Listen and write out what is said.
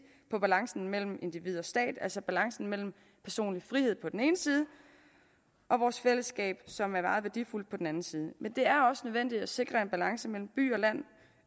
på balancen mellem individ og stat altså balancen mellem personlig frihed på den ene side og vores fællesskab som er meget værdifuldt på den anden side men det er også nødvendigt at sikre en balance mellem by og land